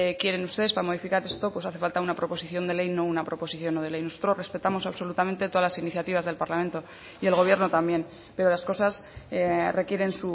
quieren ustedes para modificar esto pues hace falta una proposición de ley y no una proposición no de ley nosotros respetamos absolutamente todas las iniciativas del parlamento y el gobierno también pero las cosas requieren